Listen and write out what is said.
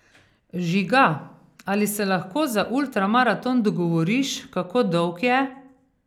Žiga, ali se lahko za ultramaraton dogovoriš, kako dolg je?